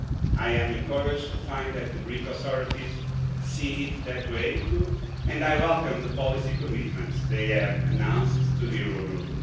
I am encouraged to find that the Greek authorities see it that way too, and I welcome the policy commitments they have announced to the Eurogroup.